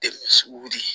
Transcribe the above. wili